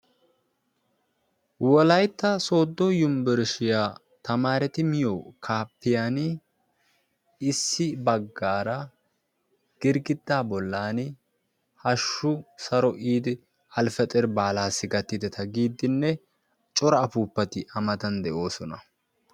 Wolaytta sooddo unbburshshiya tamaareti miyo kaafiyan issi baggaara girggiddaa bollan hashshu saro yiidi eli al fetir baalaassi gakkidetta giidinne cora application a matan de'oosona.